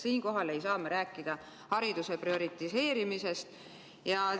Siinkohal ei saa me rääkida hariduse prioriseerimisest.